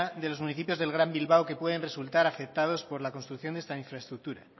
de los municipios del gran bilbao que pueden resultar afectados por la construcción de esta infraestructura